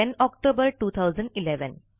10 October 2011